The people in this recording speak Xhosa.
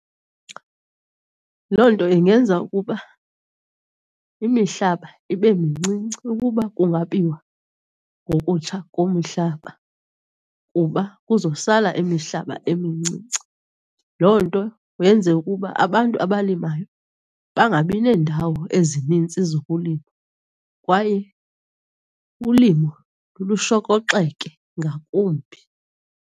Loo nto ingenza ukuba imihlaba ibe mincinci ukuba kungabiwa ngokutsha komhlaba, kuba kuzosala imihlaba emincinci. Loo nto yenze ukuba abantu abalimayo bangabi neendawo ezinintsi zokulima kwaye ulimo lushokoxeke ngakumbi.